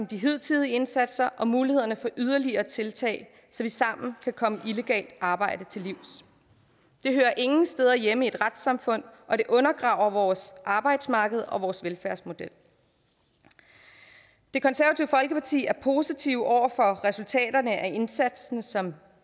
de hidtidige indsatser om mulighederne for yderligere tiltag så vi sammen kan komme illegalt arbejde til livs det hører ingen steder hjemme i et retssamfund og det undergraver vores arbejdsmarked og vores velfærdsmodel det konservative folkeparti er positiv over for resultaterne af indsatsen som